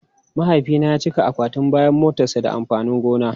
Mahaifina ya cika akwatin bayan motarsa da amfanin gona.